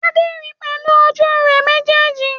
Adé ri pẹ̀lú ojú rẹ̀ méjèèjì